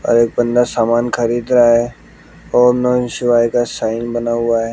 और एक बंदा सामान खरीद रहा है ओम नमः शिवाय का साइन बना हुआ है।